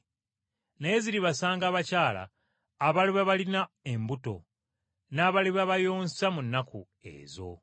Naye ziribasanga abakyala abaliba balina embuto, n’abaliba bayonsa mu nnaku ezo.